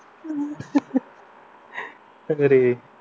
सगळे